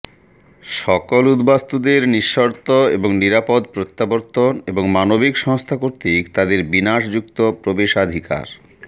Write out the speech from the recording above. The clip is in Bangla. সকল উদ্বাস্তুদের নিঃশর্ত এবং নিরাপদ প্রত্যাবর্তন এবং মানবিক সংস্থা কর্তৃক তাদের বিনাশযুক্ত প্রবেশাধিকার